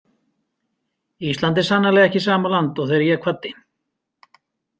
Ísland er sannarlega ekki sama land og þegar ég kvaddi.